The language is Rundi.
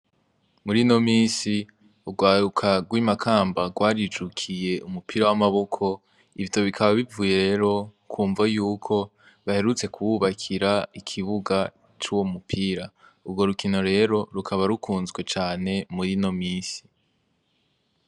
Murino minsi urwaruka rw'Imakamba rwarijukiye umupira wamaboko , ivyo bikaba bivuye rero kumvo yuko baherutse kububakira ikibuga cuwo mupira. Urwo rukino rero rukaba rukunzwe cane murino minsi .